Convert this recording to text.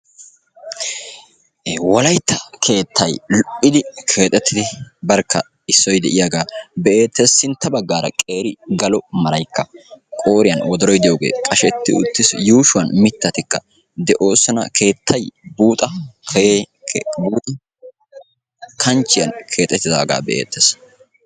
Wolaytta keettay lo"idi keexettidi barkka issoy de"iyaagaa be"eettes. Sintta baggaara qeeri galo maraykka qooriyan wodoroyi de"iyoogee qashetti uttiis. Yuushuwan mittatikka de"oosona. Keettay buuxa kanchchiyan keexettidaaga be"eettes.